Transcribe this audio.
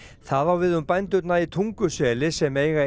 það á við um bændurna í Tunguseli sem eiga